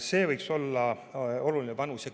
See võiks olla oluline panus.